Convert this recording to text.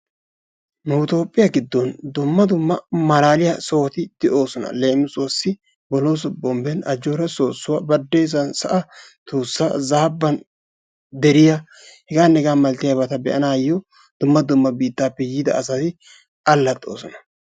nu itoophphiyaa giddon dumma dumma malaliyaa sohoti de'oosona. leemisuwaasi bolooso bombbeen ajjoora soossuwaa badessan sa'a tuussa zaabbaan deriyaa hegaanne hegaa malatiyaabata be'anayoo dumma dumma biittaappe yiida asay allaaxxoosona.